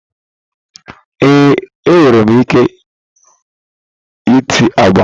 Ee, enwere m ike ịte agba.